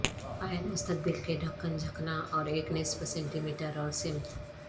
پایان مستقبل کے ڈھکن جھکنا اور ایک نصف سینٹی میٹر اور سمت